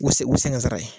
U se o se n ka sara ye